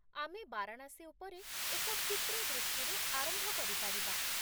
ଆମେ ବାରାଣାସୀ ଉପରେ ଏକ କ୍ଷିପ୍ର ଦୃଷ୍ଟିରୁ ଆରମ୍ଭ କରିପାରିବା।